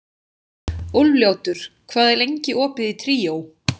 Úlfljótur, hvað er lengi opið í Tríó?